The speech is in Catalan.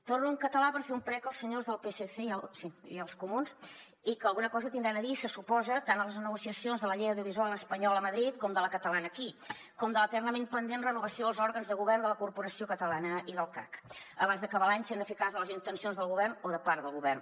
torno en català per fer un prec als senyors del psc i als comuns i que alguna cosa deuen tenir a dir se suposa tant a les negociacions de la llei audiovisual espanyola a madrid com de la catalana aquí com de l’eternament pendent renovació dels òrgans de govern de la corporació catalana i del cac abans d’acabar l’any si hem de fer cas de les intencions del govern o de part del govern